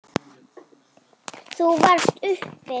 Þú varst uppi.